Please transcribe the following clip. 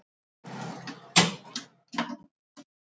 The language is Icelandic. Nú sé byggðin þétt.